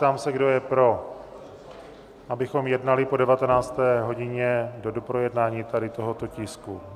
Ptám se, kdo je pro, abychom jednali po 19. hodině do doprojednání tady tohoto tisku?